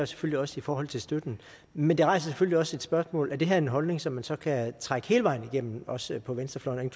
selvfølgelig også i forhold til støtten men det rejser selvfølgelig også et spørgsmål er det her en holdning som man så kan trække hele vejen igennem også på venstrefløjen